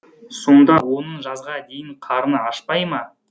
сонда оның жазға дейін қарны ашпай ма